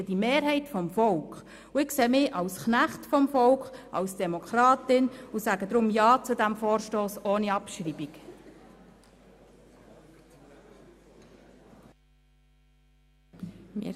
Und ich sehe mich als Knecht des Volkes, als Demokratin und sage deshalb zu diesem Vorstoss ohne Abschreibung ja.